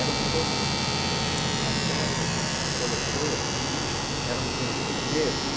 Eram todos, até o os coletores de lixo, eram sempre os mesmos.